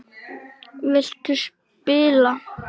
Viltu spila?